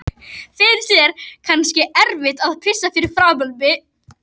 Finnst þér kannski erfitt að pissa fyrir framan mig?